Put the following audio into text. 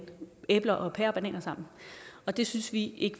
æbler og pærer og bananer sammen og det synes vi ikke